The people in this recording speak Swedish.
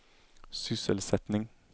sysselsättning